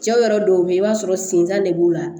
Cɛw yɛrɛ dɔw bɛ yen i b'a sɔrɔ senjan de b'u la